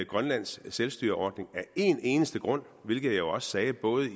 grønlands selvstyreordning af en eneste grund hvilket jeg jo også sagde både